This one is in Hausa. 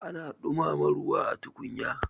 ana dumama ruwa a tukunya